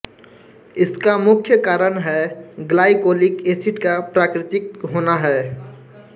इसका मुख्य कारण हैं ग्लाईकोलिक एसिड का प्राकृतिक होना हैं